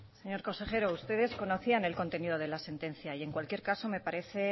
señor consejero ustedes conocían el contenido de la sentencia y en cualquier caso me parece